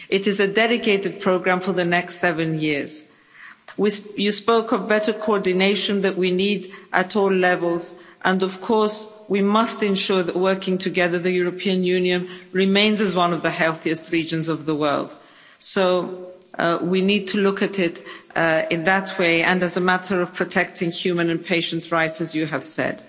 It is a dedicated programme for the next seven years. You spoke of better coordination that we need at all levels and of course we must ensure that working together the European Union remains as one of the healthiest regions of the world, so we need to look at it in that way and as a matter of protecting human and patients' rights as you have said.